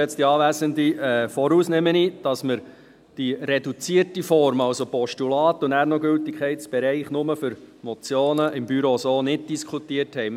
Ich nehme vorweg, dass wir die reduzierte Form – das heisst Postulat und dann noch den Gültigkeitsbereich nur für Motionen – im Büro so nicht diskutiert haben.